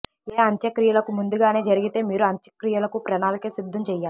ఏ అంత్యక్రియలకు ముందుగానే జరిగితే మీరు అంత్యక్రియలకు ప్రణాళిక సిద్ధం చేయాలి